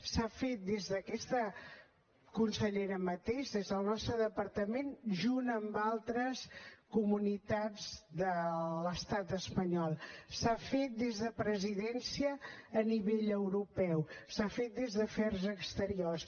s’ha fet des d’aquesta conselleria mateix des del nostre departament junt amb altres comunitats de l’estat espanyol s’ha fet des de presidència a nivell europeu s’ha fet des d’afers exteriors